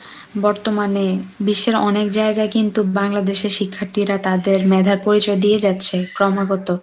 বর্তমানে বিশ্বের অনেক জায়গায় কিন্তু বাংলাদেশে শিক্ষার্থীরা তাদের মেধার পরিচয় দিয়ে যাচ্ছে ক্রমাগত।